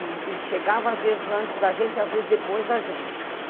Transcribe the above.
E e chegava às vezes antes da gente, às vezes depois da gente.